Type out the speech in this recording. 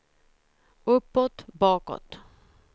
uppåt bakåt